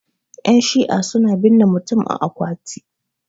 yanshi'a suna binne mutum a akwati